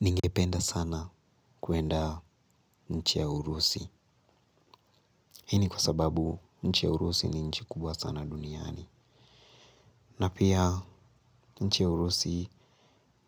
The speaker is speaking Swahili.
Ningependa sana kwenda nchi ya urusi. Hii ni kwa sababu nchi ya urusi ni nchi kubwa sana duniani na pia nchi ya urusi